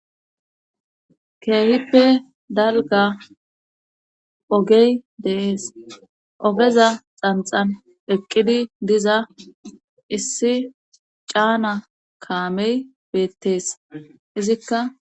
Keehippe dalga ogey deees ogeza xanxan eqqidi diza issi caana kaamey beettees izikka.